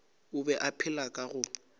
be a phela ka go